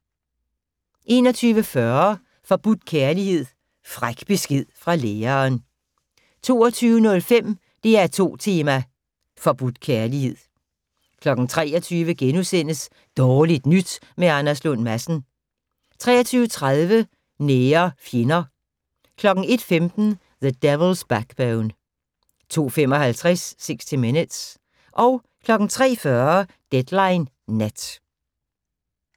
21:40: Forbudt kærlighed: Fræk besked fra læreren 22:05: DR2 tema: Forbudt kærlighed 23:00: Dårligt nyt med Anders Lund Madsen * 23:30: Nære fjender 01:15: The Devil's Backbone 02:55: 60 Minutes 03:40: Deadline Nat